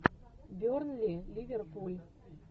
бернли ливерпуль